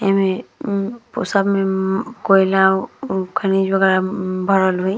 एमे उ सब में उ कोयला उ खनिज वगैरह भरल होई।